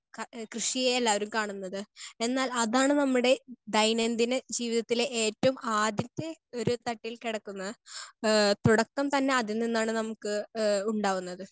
Speaker 1 ക കൃഷിയെ എല്ലാവരും കാണുന്നത്. എന്നാൽ അതാണ് നമ്മുടെ ദൈനംദിന ജീവിതത്തിലെ ഏറ്റവും ആദ്യത്തെ ഒരു തട്ടിൽ കിടക്കുന്നത്. ആഹ് തുടക്കം തന്നെ അതിൽ നിന്നാണ് നമുക്ക് ഏഹ് ഉണ്ടാവുന്നത്.